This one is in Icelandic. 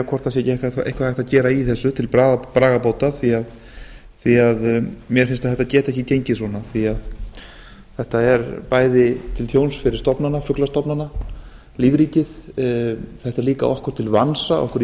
hvort ekki sé hægt að gera eitthvað í þessu til bráðabóta mér finnst að þetta geti ekki gengið svona því þetta er bæði til tjóns fyrir fuglastofnana og lífríkið þetta er líka okkur íslendingum til vansa